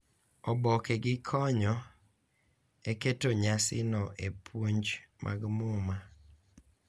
Oboke gi konyo e keto nyasino e puonj mag Muma,